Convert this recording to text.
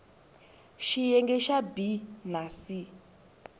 xiyenge xa b na c